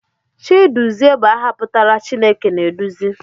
Chiduzie bụ aha pụtara 'Chineke na-eduzi'